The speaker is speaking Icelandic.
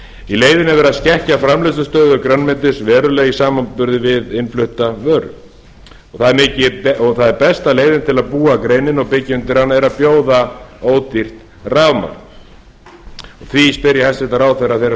í leiðinni er verð að skekkja framleiðslustöðu grænmetis verulega í samanburði við innflutta vöru besta leiðin til að búa að greininni og byggja undir hana er að bjóða ódýrt rafmagn því spyr ég hæstvirtan ráðherra þeirrar